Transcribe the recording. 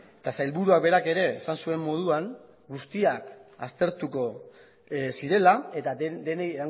eta sailburuak berak ere esan zuen moduan guztiak aztertuko zirela eta denei